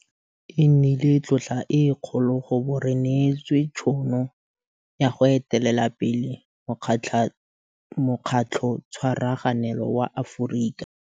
Taba ya gore mogokgo wa sekolo o utswitse tšhelete ke khupamarama.